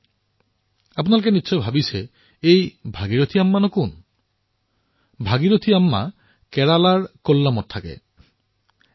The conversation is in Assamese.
এতিয়া আপোনালোকে ভাবিছে যে এই ভাগিৰথী আম্মা কোন ভাগিৰথী আম্মা কেৰেলাৰ কোল্লামত বাস কৰে